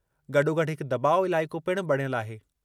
गॾोगॾु हिक दॿाउ इलाइक़ो पिणु बणियलु आहे।